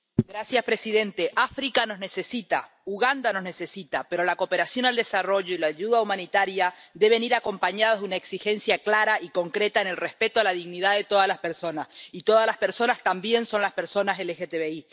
Señor presidente, África nos necesita, Uganda nos necesita, pero la cooperación al desarrollo y la ayuda humanitaria deben ir acompañados de una exigencia clara y concreta del respeto de la dignidad de todas las personas —y todas las personas también son las personas LGTBI—.